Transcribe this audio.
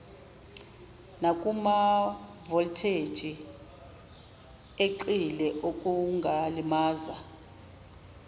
nakumavoltheji eqile okungalimaza